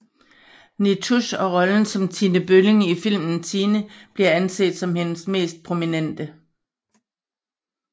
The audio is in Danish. Nitouche og rollen som Tine Bølling i filmen Tine bliver anset som hendes mest prominente